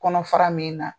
Kɔnɔ fara min na